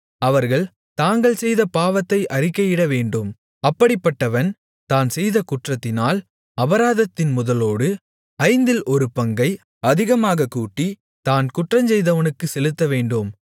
அவர்கள் தாங்கள் செய்த பாவத்தை அறிக்கையிடவேண்டும் அப்படிப்பட்டவன் தான் செய்த குற்றத்தினால் அபராதத்தின் முதலோடு ஐந்தில் ஒரு பங்கை அதிகமாகக் கூட்டி தான் குற்றஞ்செய்தவனுக்குச் செலுத்தவேண்டும்